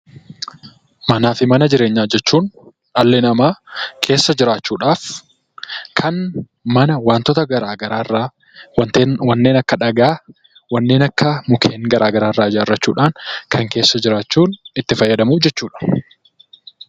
Manaafi mana jireenyaa jechuun dhalli namaa keessa jiraachuudhaaf kan mana wantoota garagaraa irraa wanneen akka dhagaa, wanneen akka mukkeen garagaraa irraa ijaarrachuudhan keessa jiraachuuf itti fayyadamu jechuudha.